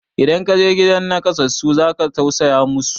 idan ka je gidan nakasassu za ka tausaya musu